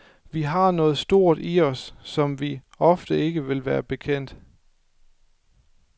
Vi har noget stort i os, som vi ofte ikke vil være bekendt.